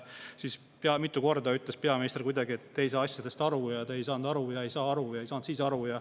Siis mitu korda peaminister ütles, et te ei saa asjadest aru ja te ei saanud ka siis aru.